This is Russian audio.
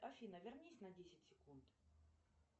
афина вернись на десять секунд